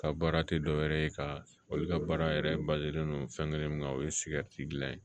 Ka baara tɛ dɔ wɛrɛ ye ka olu ka baara yɛrɛ balen don fɛnkɛrɛ min kan o ye sigɛriti dilan ye